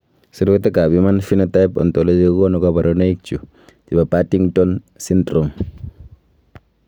Sirutikab Human Phenotype Ontology kokonu koborunoikchu chebo Partington syndrome.